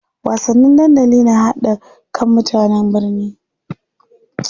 Wasanni dandali na ƙara haɗa kan mutane.